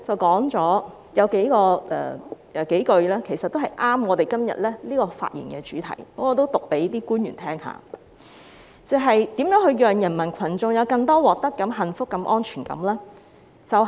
當中有幾句很切合我們今天的辯論主題，我讀出來給各位官員聽聽："如何讓人民群眾有更多獲得感、幸福感、安全感？